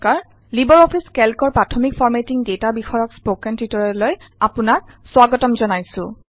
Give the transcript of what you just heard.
Libre office কেল্কৰ প্ৰাথমিক formatting data বিষয়ক স্পকেন টিউটৰিয়েললৈ আপোনাক স্বাগতম জনাইছোঁ